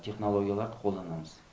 технологияларды қолданамыз